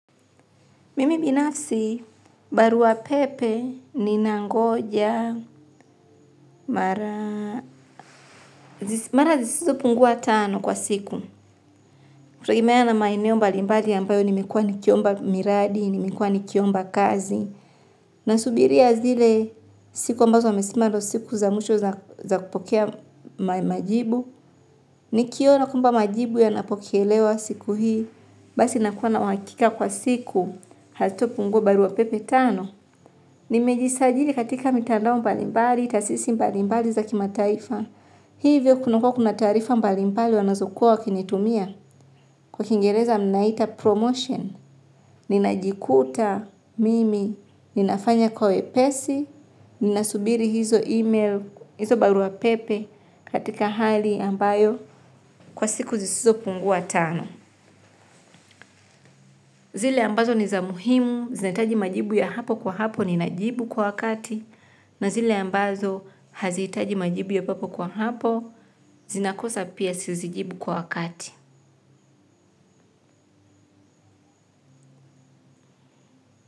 Mimi binafsi, barua pepe ninangoja mara zisizo pungua tano kwa siku. Kutegemea na maeneo mbalimbali ambayo nimekuwa nikiomba miradi, nimekuwa nikiomba kazi. Nasubiria zile siku ambazo amesema ndo siku za mwisho za kupokea majibu. Nikiona kwamba majibu yanapokelewa siku hii. Basi nakuwa na uhakika kwa siku hazitapungua barua pepe tano. Nimejisajili katika mitandao mbalimbali, taasisi mbalimbali za kimataifa. Hivyo kuna kuwa kuna taarifa mbalimbali wanazokuwa wakinitumia. Kwa kingereza mnaita promotion, ninajikuta mimi, ninafanya kwa wepesi, ninasubiri hizo email, hizo barua pepe katika hali ambayo kwa siku zisizopungua tano. Zile ambazo ni za muhimu, zinahitaji majibu ya hapo kwa hapo ninajibu kwa wakati na zile ambazo hazihitaji majibu ya papo kwa hapo zinakosa pia sizijibu kwa wakati.